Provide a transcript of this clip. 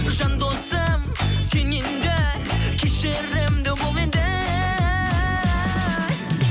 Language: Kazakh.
жандосым сен енді кешірімді бол енді